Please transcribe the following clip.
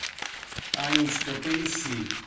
анечка поищи